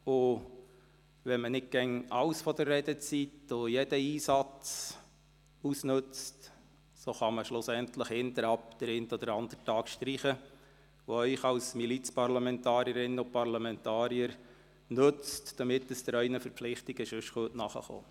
Wenn man nicht immer die ganze Redezeit und jeden möglichen Einsatz ausnützt, wird man den einen oder anderen der letzten Tage streichen können, der Ihnen dann als Milizparlamentarierinnen und -parlamentarier dient, um Ihren sonstigen Verpflichtungen nachgehen zu können.